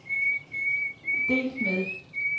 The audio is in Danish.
delt med